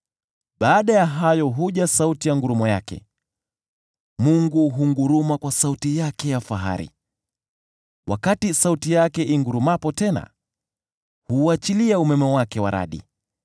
Baada ya hayo huja sauti ya ngurumo yake; Mungu hunguruma kwa sauti yake ya fahari. Wakati sauti yake ingurumapo tena, huuachilia umeme wake wa radi.